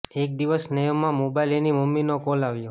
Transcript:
એક દિવસ સ્નેહ માં મોબાઇલ એની મમ્મી નો કોલ આવ્યો